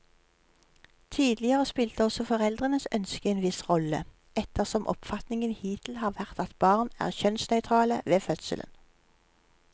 Tidligere spilte også foreldrenes ønske en viss rolle, ettersom oppfatningen hittil har vært at barn er kjønnsnøytrale ved fødselen.